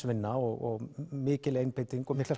vinna og mikil einbeiting og miklir